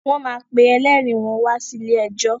Wọ́n máa pe elérìí wọ́n wa sí ilé ẹjọ́.